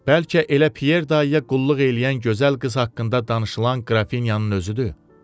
Bəlkə elə Pyer dayıya qulluq eləyən gözəl qız haqqında danışılan qrafinyanın özüdür.